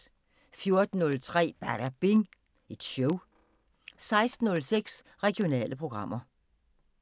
14:03: Badabing Show 16:06: Regionale programmer